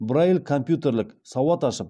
брайль компьютерлік сауат ашып